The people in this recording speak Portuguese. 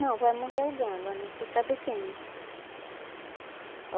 Não, vai morrer alguém, agora não sei sabe quem, né?